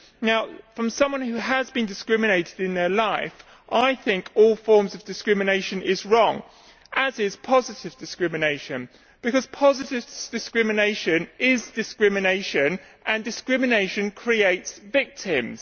Now, speaking as someone who has been discriminated against, I think all forms of discrimination are wrong, as is positive discrimination, because positive discrimination is discrimination, and discrimination creates victims.